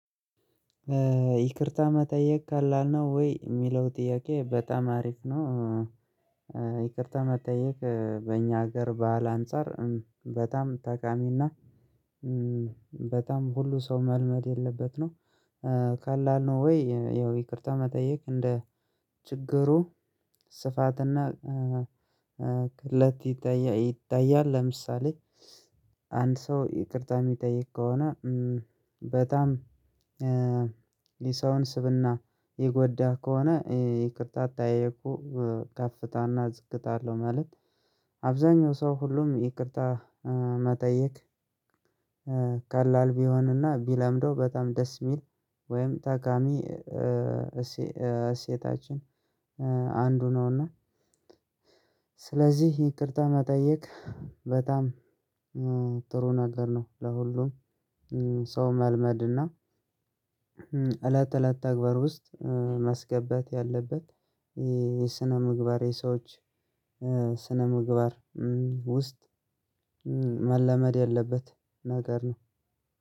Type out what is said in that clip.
ይቅርታ መጠየቅ ከላል ነው ወይ የሚለው ጥያቄ በጣም አሪፍ ነው? ይቅርታ መጠየቅ በእኛ ሀገር ባህል አንፃር በጣም ተቃሚና። በጣም ሁሉ ሰው መልመድ ያለበት ነው። ቀላል ነው ወይ ያው ይቅርታ መጠየቅ እንደ ችግሩ ስፋትና ቅለት ይታያል። ለምሳሌ አንድ ሰው ይቅርታ የሚጠይቅ ከሆነ በጣም ሰውን ስብና የጎዳ ከሆነ ይቅርታ አጠያየቁ ከፍታና ዝቅታ አለው። ማለት አብዛኛው ሰው ሁሉም ይቅርታ መጠየቅ። ቀላል ቢሆንና ቢለምደው በጣም ደስ የሚል ወይም ታካሚ እሴታችን አንዱ ነውና። ስለዚህ ይቅርታ መጠየቅ በጣም ጥሩ ነገር ነው። ለሁሉም ሰው መልመድና እለት እለት ታግባር ውስጥ ማስገባት ያለበት የስነ ምግባሬ ሰዎች ስነ ምግባር ውስጥ መለመድ ያለበት ነገር ነው።